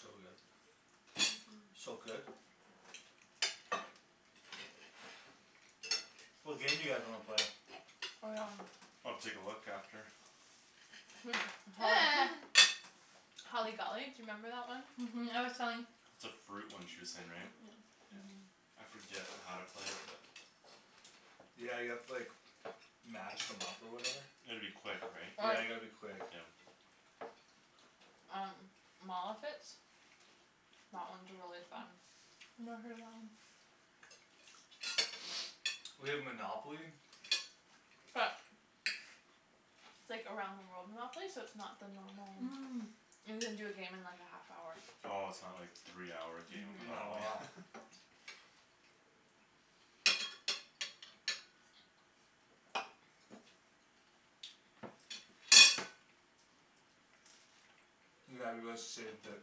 so good uh-huh so good what game do you guys wanna play? I'll take a look after holly holly golly do you remember that one? uh-huh I was telling it's a fruit one she way saying right uh-huh yeah I forget how to play it but yeah you have to like match them up or whatever you gotta be quick right yeah or you gotta be quick yeah um mall outfits that one's really fun never heard of that one we have Monopoly but it's like around the world Monopoly so its not the normal um you can do a game in like a half hour oh its not like three hour game of no uh-huh Monopoly yeah, let's save the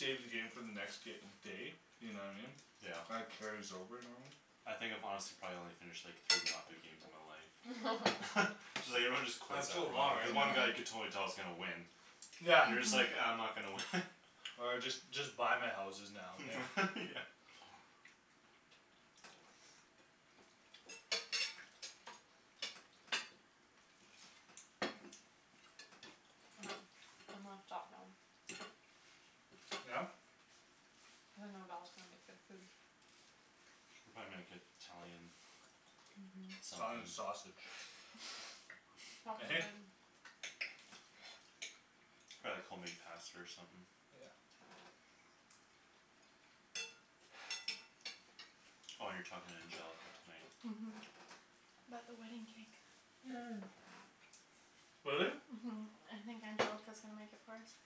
save the game for the next day you know what I mean yeah that carries over normally I think if I'm honest I've probably only finished like three Monopoly games in my life so like everyone just quits it's so after a long while because right one guy you yeah could uh-huh totally tell is gonna win yeah you're just like ah I'm uh-huh not gonna win or just just buy my houses now okay yeah I'm gonna stop now yeah cuz I know Val's gonna make good food they'll probably make it- Italian uh-huh Italian something sausage he - hey probably like home made pasta or something yeah oh you're talking to Angelica tonight uh-huh about the wedding cake uh really? uh-huh I think Angelica's gonna make it for us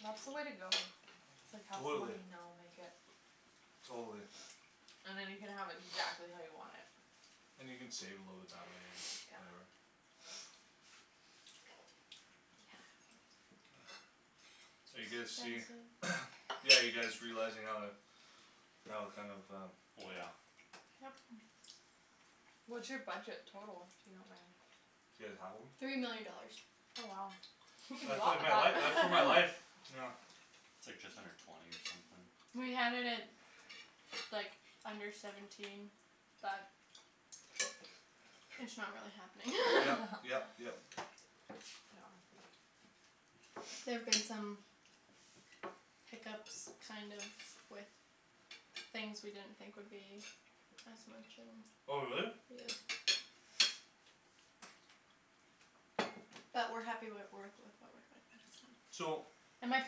that's the way to go it's like have someone totally you know make it totally and then you can have exactly how you want it and you can save a little bit that way or whatever yeah so are you it's guys see expensive yeah you guys realizing how how kinda of um oh yeah yup what's your budget total if you don't mind do you guys have one? three million dollars oh wow you can do a that's lot like with my life uh that's uh my life that yeah its like just under twenty or something we had it at like under seventeen but it's not really happening yep yep yep yeah there've been some hiccups kind of with things we didn't think would be as much and oh really? yeah but we're happy with with what we're so and my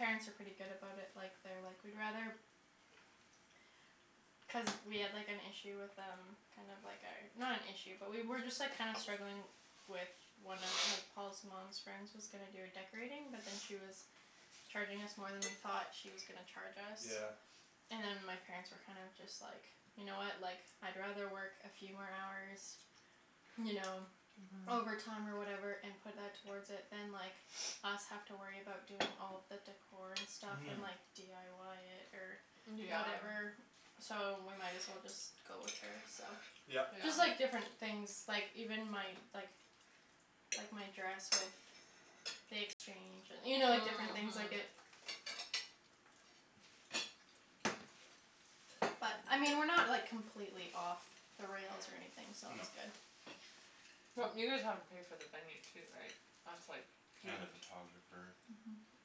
parents are pretty good about it like they're like we'd rather cuz we had like an issue with um kinda like our not an issue but we were just like kinda struggling with one of like Paul's mom's friend's was gonna do a decorating but then she was charging us more than we thought she was gonna charge yeah us and my parents were kind of just like you know what like I'd rather work a few more hours you know uh-huh overtime or whatever and put that towards it than like us have to worry about doing all the decor and stuff uh-huh and like dyi it or yeah whatever so we might as well just go with her so yup yeah just like different things like even my like like my dress with the exchange and you know different things like it uh-huh but I mean we're not like completely off the rails or anything so no that's good well you guys have to pay for the venue too right that's like huge and the photographer uh-huh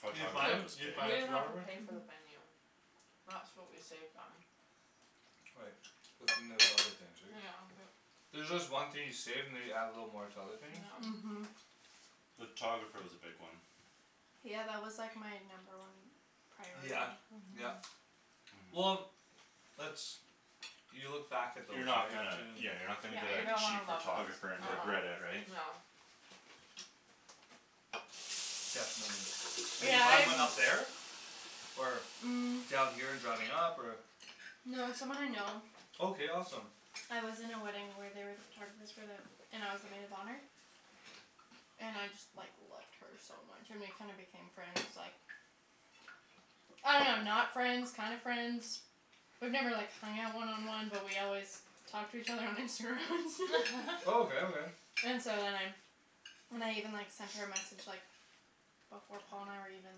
photographer was big we didn't have to pay for the uh-huh venue that's what we saved on right but then there's other things right yeah but there's just one thing you save and they you add a little more to other things yeah uh-huh the photographer was a big one yeah that was like my number one yeah priority yeah uh-huh uh-huh well that's you look back at those you're not right gonna yeah you're too not gonna yeah get you're a gonna wanna cheap love those photographer uh- and uh yeah regret it right yeah definitely, did you yeah find I've one up there or, um down here and driving up or No it's someone I know okay awesome I was in a wedding where they were the photographers for the and I was the maid of honor and I just like loved her so much and we kinda became friends like I don't know not friends kinda friends we've never like hung out one on one but we always talk to each other on Instagram and stuff oh okay okay and so then I then I even like sent her a message like before Paul and I were even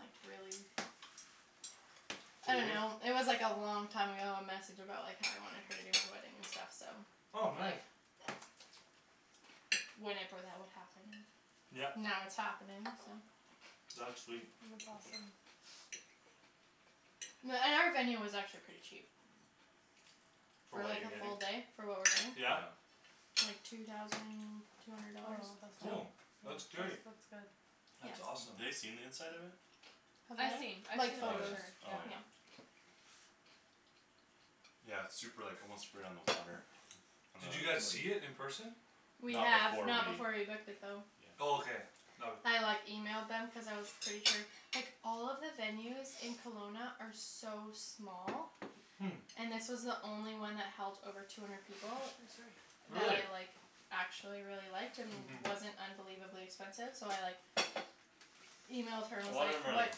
like really I don't serious know it was like a long time ago a message about like how I wanted her to do my wedding and stuff so oh like nice Whenever that would happen and yep now it's happening so that's sweet that's awesome Yeah and our venue was actually pretty cheap for for what like you're a getting, full day for what we're yeah yeah getting like two thousand two hundred oh dollars that's oh not yeah that's that's great that's good that's yeah awesome ha- they seen the inside of it Have they? I've seen I've seen Like the oh photos picture yeah yeah oh yeah yeah yeah its super like almost right on the water on the did you lake guys see it in person? we not have before we not before we booked it though yeah oh okay no- I like emailed them cuz I was pretty sure like all of the venues in Kelowna are so small hm and this was the only one that held over two hundred people oh sorry that I really like actually really liked and uh-huh wasn't unbelievably expensive so I like emailed her a and was lot of them like are what like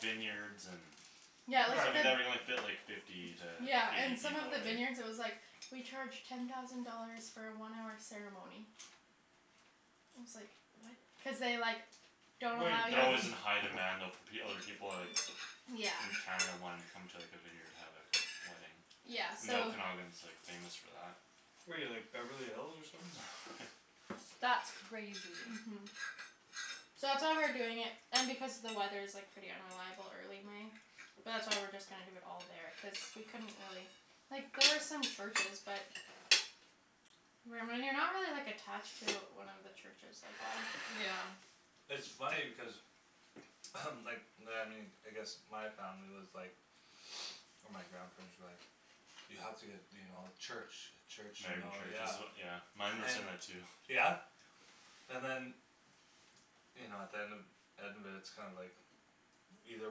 vineyards and yeah so they like the fit like fifty to yeah and eight some of people all the right vineyards it was like we charge ten thousand dollars for a one hour ceremony and I was like what cuz they like don't wait allow they're that alway you was in to high demand though fo- other people are like yeah in Canada wanting to come to like a vineyard to have like a wedding yeah and so the Okanagan's like famous for that where you like Beverly Hills or something that's crazy uh-huh so that's why we're doing it and because the weather is like pretty unreliable early May but that's why we're just gonna do it all there cuz we couldn't really like there was some churches but when when you're not really like attached to one of he churches like why yeah it's funny because like I guess my family was like or my grandparents were like you have to get you know church a church you married in know church is yeah as yeah mine were and saying that too yeah and than you know at the end end of it its kinda like either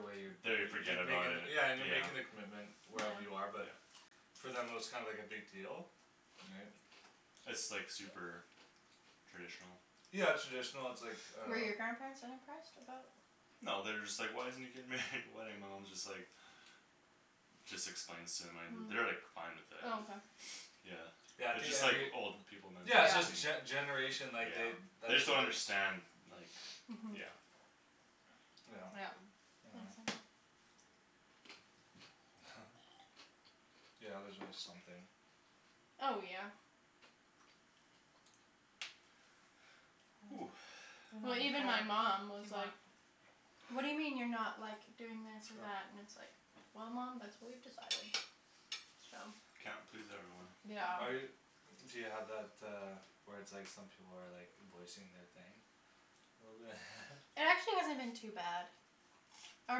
way you're da- they you're forget you're about making it yeah and you're yeah making the commitment yeah wherever you are but yeah for them it was kinda like a big deal right its like super traditional yeah traditional its like uh Were your grandparents unimpressed about no they're just like why isn't he getting married in a wedding my mom is just like just explains to them an- they're like hm fine with oh it okay yeah yeah I its think just like every old people yeah its just mentality yeah gene- generation like they yeah they that's just don't what their understand like uh-huh yeah yeah yeah yeah yeah there's always something oh yeah ooh even well even my before mom was do you want like whad do you mean you're not like doing this or sure that and it's like well mom thats what we've decided so can't please everyone yeah yeah are you do you have that uh where its like some people are like voicing their thing a little bit It actually hasn't been too bad our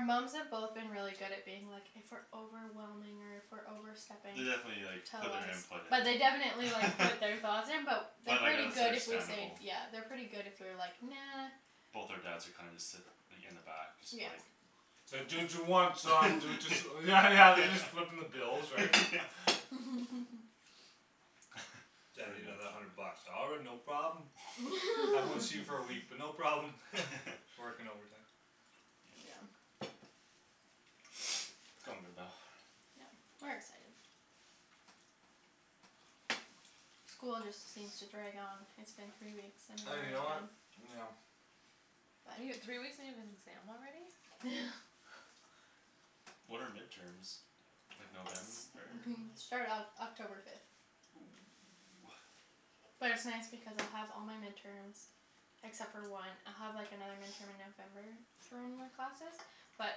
moms have both been really good at being like if we're overwhelming or if we're overstepping they definitely like tell put their us input in but they definitely like put their thoughts in but but they're like yeah pretty there's good if we say understandable yeah they're pretty good if we're like "nah" both our dads are kinda just sit like in the back just yeah like its like do what you want son do whats yeah yeah yeah they're just footing the bill yeah right yeah daddy I pretty need much another hundred bucks "all right no problem" I won't see you for a week but no problem working overtime yeah its coming about yep we're excited school just seems to drag on it's been three weeks and you and we're know done what yeah you n- three weeks and you have an exam already when are midterms like November it start Oc- October fifth oh ah but it's nice because I'll have all my midterms except for one I'll have like another midterm in November for one of my classes but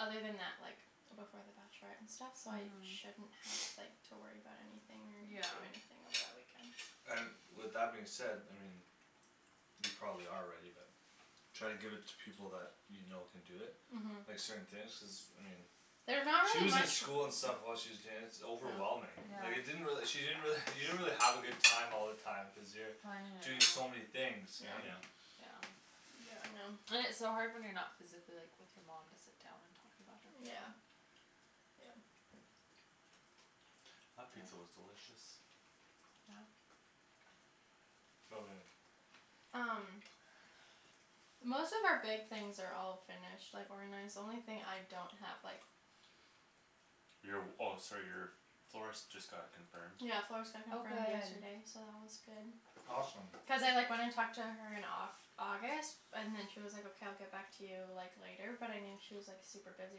other than that like before the bachelorette and stuff so I uh-huh shouldn't have like to worry about anything or do anything over yeah that weekend so and with that being said I mean you probably are ready but try to give it to people that you know can do it like uh-huh certain things cuz I mean there's not she really was in much school and stuff while she was danc- overwhelming like it yeah didn't really she didn't really you didn't really have a good time all the time cuz you're planning it and doing all so many things right yeah yep yeah yeah I know and its so hard when you're not physically like with your mom to sit down and talk about everything yeah yeah that pizza was yeah delicious yeah so good um most of our big things are all finished like organized the only thing I don't have like your w- oh sorry your florist just got confirmed yeah florist got oh confirmed good yesterday so that one's good awesome cuz I like went and talked to her in like Au- August and then she was like okay I'll get back to you like later but I knew she was like super busy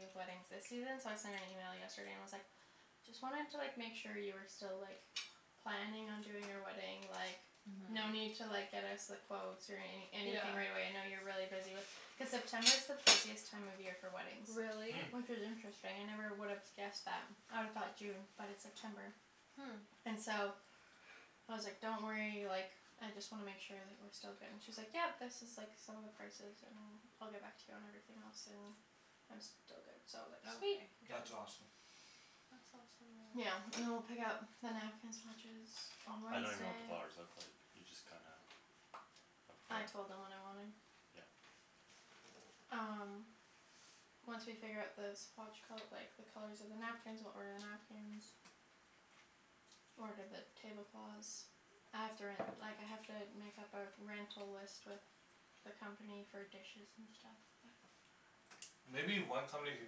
with weddings this season so I sent an email yesterday and was like just wanting to like make sure you were still like planning on doing our wedding like no uh-huh need to like get us the quotes or any yeah anything right away I know you're really busy with cuz September is the busiest time of year for weddings really hm which is interesting I never would have guessed that I'd've thought June but it's September hm and so I was like don't worry like I just wanna make sure like we're still good and she's like yep this is like some of the prices and I'll get back to you on everything else and I'm still but good okay so like sweet that's awesome really yeah and then we'll pick out the napkin swatches on I don't even know what the Wednesday flowers look like you just kinda I with the told them what I wanted yup um once we figure out the swatch col- like the colors of the napkins we'll order the napkins order the tablecloths I have to ren- like I have to make up our rental list with the company for dishes and stuff but maybe one company can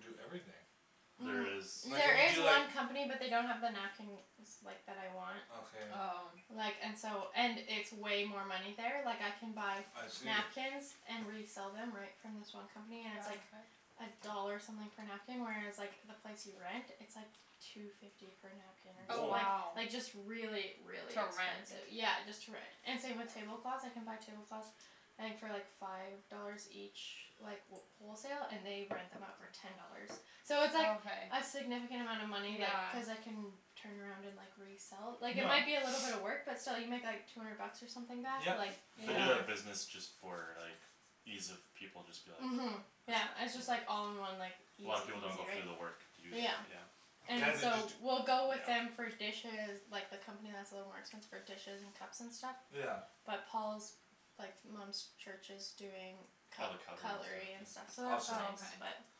do everything there is um like when there you is do like one company but they don't have the napkins like that I want okay oh like and so and it's way more money there like I can buy I see napkins and resell them right from this one company and its oh like okay a dollar something per napkin whereas like the place you rent it's like two fifty per napkin or some- oh or woah like wow like just really really to rent expensive yeah just to rent and same with tablecloths I can buy tablecloths I think for like five dollars each like wh- wholesale and they rent them out for ten dollars so oh it's like okay a significant amount of money like yeah cuz I can turn around and like resell like it yeah might be a little bit of work but still you make like two hundred bucks or something back yep like they do totally yeah yeah that business just for like ease of people just be like uh-huh yeah yeah it's just like all in one like A lot of people easy don't go through the peasy work to do that right yeah yeah and yeah they just so d- we'll go with them yeah for dishes like the company that's a little more expensive for dishes and cups and stuff yeah but Paul's like mom's church is doing all the cut- cutlery and cutlery and stuff stuff yeah awesome so oh okay that's nice but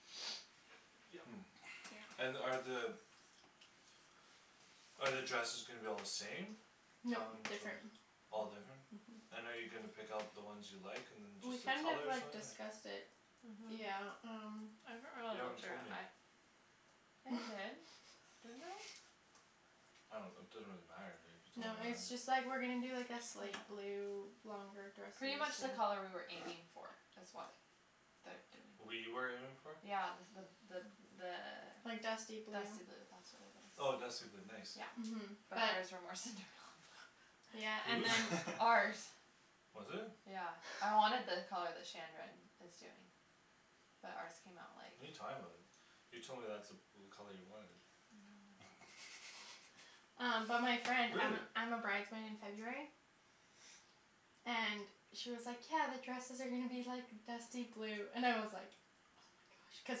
hm and are the are the dresses gonna be all the same? nope different all different uh-huh and are you gonna pick out the ones you like and then we just the kind of colors or like something discussed it yeah uh-huh um you haven't told me I did didn't I I don't it doesn't really matter to me you no told me it's or just like not we're gonna do like a slate yeah blue longer dresses pretty much the color we were aiming for is what their doing we were aiming for? yeah the the the like dusty the blue dusty blue that's what it is oh dusty blue nice yeah uh-huh but but ours were more Cinderella blue yeah who's? and then ours was it? yeah I wanted the color that Shandryn is doing but ours came out like what're you talking about you told me that's the blue color you wanted no um but my friend I'm really? a I'm a bride's maid in it's okay February and she was like "yeah the dresses are gonna be like dusty blue" and I was like oh my gosh cuz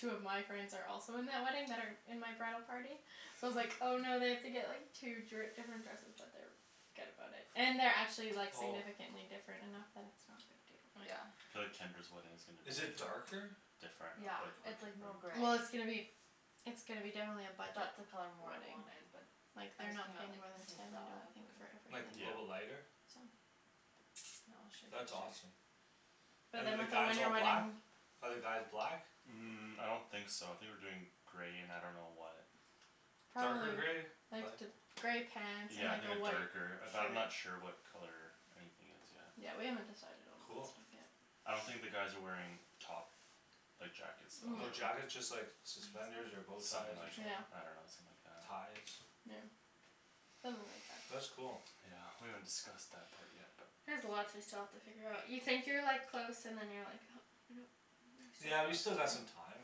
two of my friends are also in that wedding that are in my bridal party so I was like "oh no I have to like get two dri- different dresses" but they're good about it and they're actually like oh significantly different enough that it's not a big deal but yeah yeah I feel like Tendra's wedding is gonna be is it darker? different yeah ah like quit it's like more different gray well it's gonna be it's gonna be definitely a budget that's the color more I wedding wanted but like they're ours not came out paying like more than ten I don't Cinderella think for blue like a yeah little bit everything I lighter think so no I'll show that's you a awesome picture but and then than the with a guys winter all black ? wedding are the guys black? um I don't think so I think we're doing gray and I don't know what darker gray probably like light th- gray pants and yeah I like think a a white darker shirt but I'm not sure what color anything is yet yeah we haven't decided on all that cool stuff yet I don't think the guys are wearing top like jackets though no no jackets just like suspenders or bowties something or like something yeah I don't know something like that ties yeah something like that that's cool yeah we haven't discussed that part yet but there's lots we still have to figure out you think you're like close and then you're like oh no yeah you there's still still got lots some time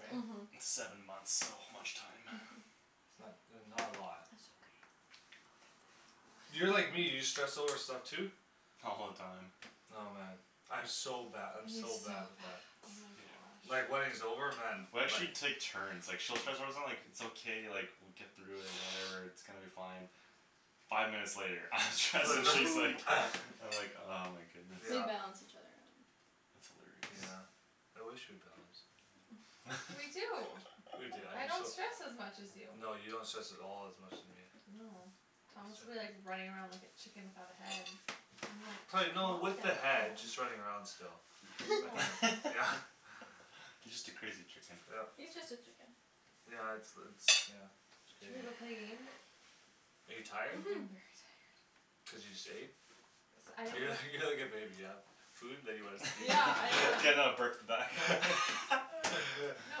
right? uh-huh seven months so much time uh-huh it's not that's not a lot that's okay we'll get there you're like me you stress over stuff too? all the time oh man I'm so bad I'm he's so so bad bad with oh that yeah my God like wedding's over man we like actually take turns like she'll stress out about like its okay like we'll get through it and whatever its gonna be fine five minutes later I'm stressed she's like I'm like oh my goodness we yeah balance each other out that's hilarious yeah I wish we balanced we do we do I'm I just don't so stress as much as you no you don't stress at all as much as me no Thomas'll be like running around like a chicken without a head I'm like pla- calm no down with the head just running around still no okay yeah you just a crazy chicken yup yeah its the its yeah its should we go crazy play a game are you I'm tired very uh-huh tired cuz you just ate cuz I didn't you're like go you're like a baby you've food then you wanna sleep yeah I can uh now burp the back no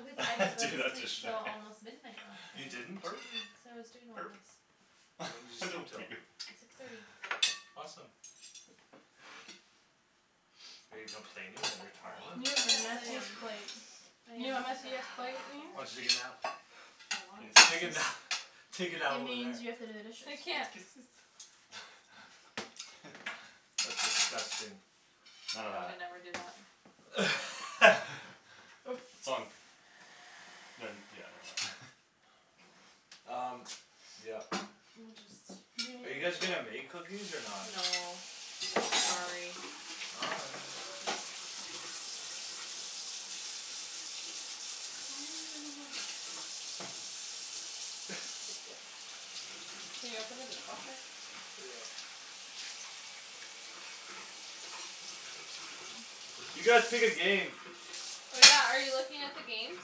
cause I didn't go to sleep till almost midnight last you night didn't? burp cuz I was doing all burp this when did you sleep don't till? puke six thirty awesome are you complaining that you're you go tired have to the yes the I am messiest washroom plates I you am know what complaining messiest plate very oh did means? hard you take a nap I means wanted to take a this nap take It a nap over there means you have to do the I dishes can't that's disgusting none of yeah we that never do that its on ne- yeah never mind laughs] um yup we'll just are you guys gonna make cookies or not? no sorry why are you running away? can you open the dishwasher yeah you guys pick a game oh yeah are you looking at the games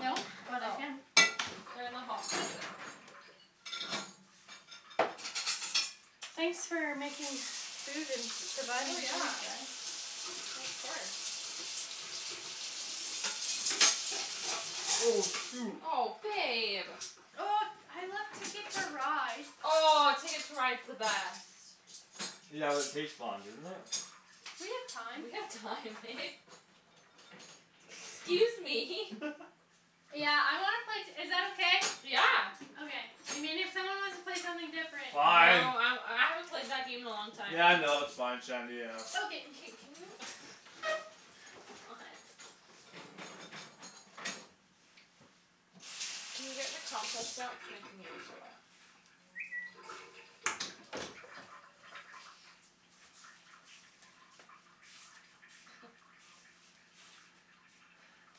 no but I oh can they're in the hall closet thanks for making food and oh providing food yeah guys of course oh shoot oh babe oh I like TIcket to Ride oh Ticket to Ride's the best yeah but it takes long doesn't it we have time we have time babe excuse me yeah I wanna play t- is that okay? yeah okay I mean if someone wants to play something different oh fine I I haven't played that game in a long time yeah no its fine Shandy yeah okay k can you what can you get the compost out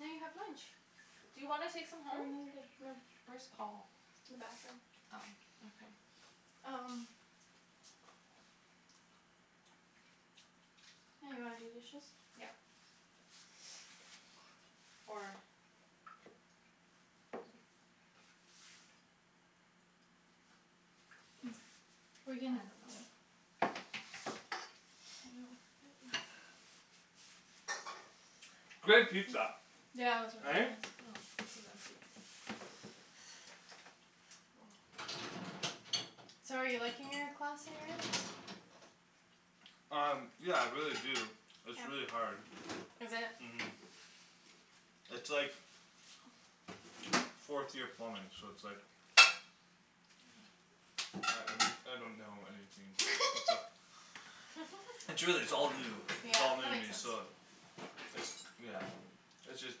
now you have lunch do you wanna take some for home? another day no where's Paul? in the bathroom oh okay um yeah you wanna do dishes? yeah or we're I don't know yo that great pizza yeah it was right? really oh this is empty so are you liking your class that you're in? um yeah I really do its really hard is it? uh-huh its like fourth year plumbing so its like I I don't know anything its a its really its all new yeah its all new that to makes me sense so its yeah its just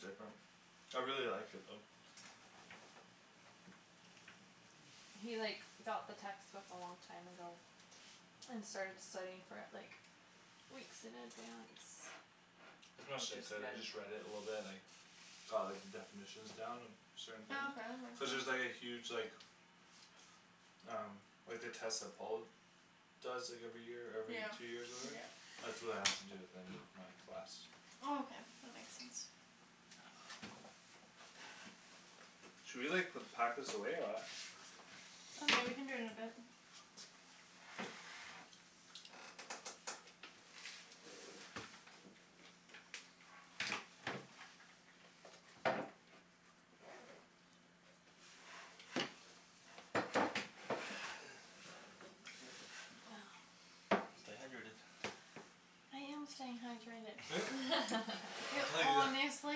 different I really like it though He like got the textbook a long time ago and started studying for it like weeks in advance which is I good just read it a little bit like got like the definitions down and certain things oh okay that cuz there's makes like a sense huge like um like the test that Paul does like every year or yeah every two years or whatever yeah that's what I have to do at the end of my class oh okay that makes sense should we like put pack this away or what oh yeah we can do it in a bit stay hydrated you I tell you wh-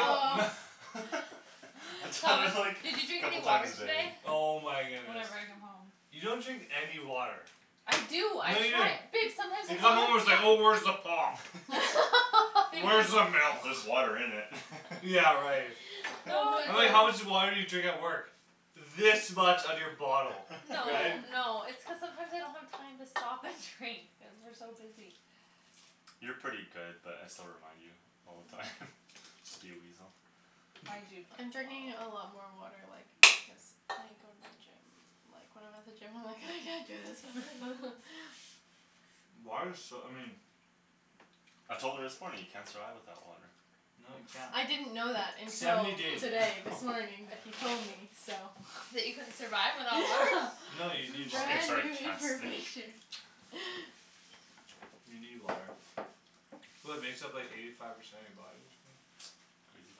oh I Paul tell Paul her is like did "did you you drink drink any couple any a time water water a today? day today?" oh my goodness whenever I come home you don't drink any water I do I no you don't try babe you come home its sometimes like oh where's the I pop babe there's where's the just just milk there's water in it yeah right oh no I was my like how much it's gosh just water did you drink at work this much of your bottle no right no it's cuz sometimes I don't have time to stop and drink cuz we're so busy you're pretty good but I still remind you all the time just to be a weasel I do I'm drink drinking a lot more like because I go to the gym like when I'm at the gym I'm like "I can't do this water" water's so I mean I told her this morning you can't survive without water No you can't I didn't know that until seventy days today this morning that he told me so that you couldn't survive without water no you need water brand new information you need water well it makes up like eighty five percent of you body or something crazy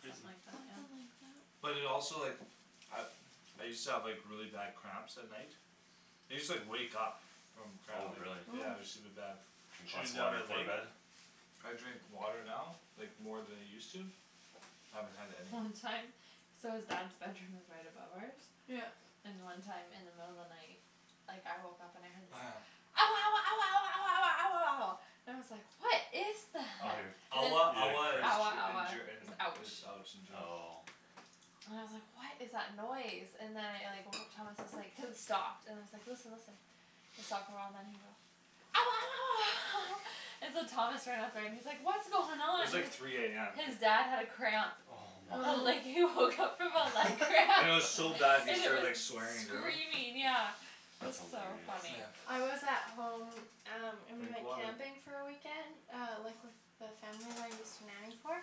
something like that something yeah like that but it also like I I used to have like really bad cramps at night I used to like wake up from cramp oh really yeah it use to be oh bad drink lots shooting a down water my before leg bed I drink water now like more than I use to haven't had any long time so his dad's bedroom is right above ours yup and one time in the middle of the night like I woke up and I heard this oh yeah ouah ouah ouah ouah ouah ouah ouah ouah ouah and I was like what is oh you're that and then ouah he ouah is had ouah cramps Ger in ouah Ger in is is ouch ouch in German oh and I was like what is that noise and then I like woke up Thomas is like cuz it stopped and then I was like listen listen it stopped a while and then he goes ouah ouah ouah and so Thomas ran up there and he's like what's going it on was like three am his dad had a cramp oh my and like oh he woke up from a leg cramp and and it it was was so bad he and it started like was swearing in German screaming yeah it was that's so hilarious funny yeah I was at home um and we drink went water camping for a weekend uh like with the family that I used to nanny for